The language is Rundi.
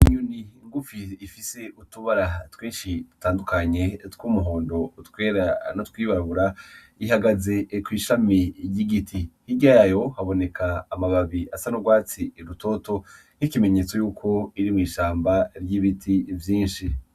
Inyoni ngufi ifise utubara twinshi dutandukanye tw'umuhondo , utwera, n'utwirabura ihagaze kw'ishami ry'igiti hirya yayo haboneka amababi asa n'urwatsi rutoto .Nk'ikimenyetso yuko iri mw'ishamba ry'ibiti vyinshi.